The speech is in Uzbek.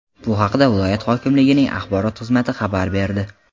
Bu haqda viloyat hokimligining axborot xizmati xabar berdi .